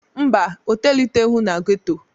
Mba, o toliteghị na ghetto.